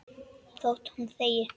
Þótt hún þegi.